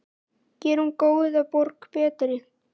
Gerum góða borg betri.